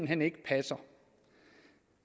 hen ikke passer